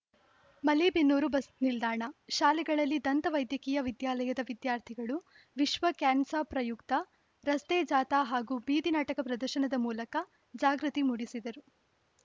ಮಲೇಬೆನ್ನೂರು ಬಸ್‌ನಿಲ್ದಾಣ ಶಾಲೆಗಳಲ್ಲಿ ದಂತ ವೈದ್ಯಕೀಯ ವಿದ್ಯಾಲಯದ ವಿದ್ಯಾರ್ಥಿಗಳು ವಿಶ್ವ ಕ್ಯಾನ್ಸರ್‌ ಪ್ರಯುಕ್ತ ರಸ್ತೆ ಜಾಥಾ ಹಾಗೂ ಬೀದಿ ನಾಟಕ ಪ್ರದರ್ಶನ ಮೂಲಕ ಜಾಗೃತಿ ಮೂಡಿಸಿದರು